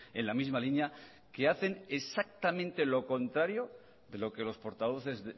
en la misma línea que hacen exactamente lo contrario de lo que los portavoces